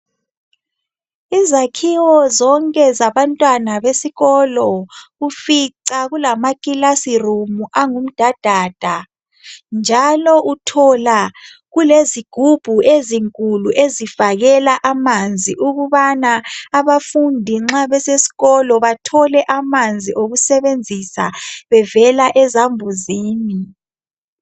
Izakhiwo zonke zabantwana besikolo ufica kulama classroom angumdadada njalo uthola kulezigubhu ezinkulu ezifakela amanzi ukubana abafundi nxa besesikolo bathole amanzi okusebenzisa bevela ezambuzini.